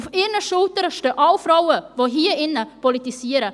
Auf ihren Schultern stehen alle Frauen, die hier drinnen politisieren.